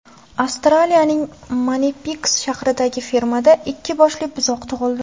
Avstraliyaning Manipiks shahridagi fermada ikki boshli buzoq tug‘ildi.